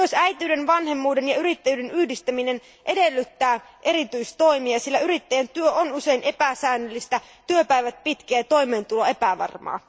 Myös äitiyden, vanhemmuuden ja yrittäjyyden yhdistäminen edellyttää erityistoimia, sillä yrittäjän työ on usein epäsäännöllistä, työpäivät pitkiä ja toimeentulo epävarmaa.